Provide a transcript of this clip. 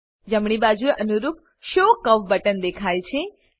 જમણી બાજુએ અનુરૂપ શો કર્વ બટન દેખાય છે